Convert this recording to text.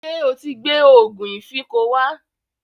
Ṣé o ti gbẹ́ òògùn ìfínko wá?